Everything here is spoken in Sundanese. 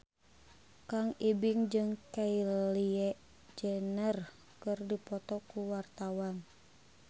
Kang Ibing jeung Kylie Jenner keur dipoto ku wartawan